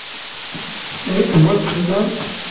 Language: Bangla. এইতো বলছি শুনতে পাসনি